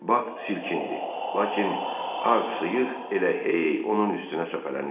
Bak silkindi, lakin ağ sıyıq elə hey onun üstünə səpələnirdi.